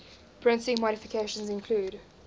printing modifications include